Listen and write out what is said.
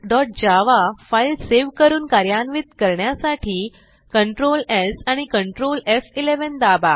teststudentजावा file save करून कार्यान्वित करण्यासाठी Ctrl स् आणि Ctrl एफ11 दाबा